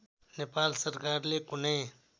नेपाल सरकारले कुनै